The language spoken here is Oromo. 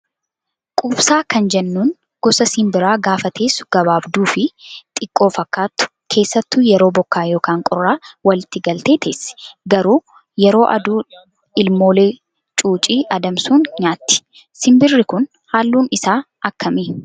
Quubsaa kan jennuun gosa simbiraa gaafa teessu gabaabduu fi xiqqoo fakkaattu keessattuu yeroo bokkaa yookaan qorraa walitti galtee teessi. Garuu yeroo aduu ilmoolee cuucii adamsuun nyaatti. Simbirri kun halluun isaa akkami?